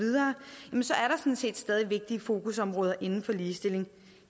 set stadig vigtige fokusområder inden for ligestilling